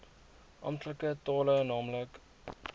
amptelike tale naamlik